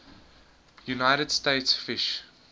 united states fish